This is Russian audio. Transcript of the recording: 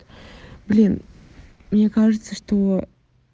блин мне кажется что